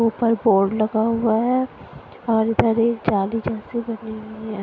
ऊपर बोर्ड लगा हुआ है और इधर एक जाली जैसी बनी हुई है।